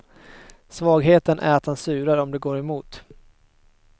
Svagheten är att han surar om det går emot.